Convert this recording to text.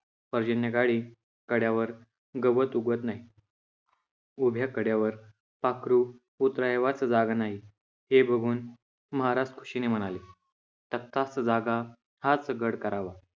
पर्जन्यकाळी कड्यावर गवत उगवत नाही. उभ्या कड्यावर पाखरू उतरावयास जागा नाही. हे बघून महाराज खुशीने म्हणाले, तख्तास जागा, हाच गड करावा.